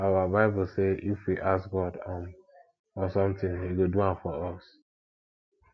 our bible say if we ask god um for something he go do am for us